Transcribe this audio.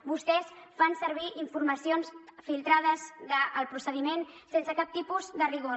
vostès fan servir informacions filtrades del procediment sense cap tipus de rigor